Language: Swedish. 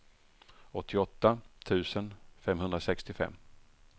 åttioåtta tusen femhundrasextiofem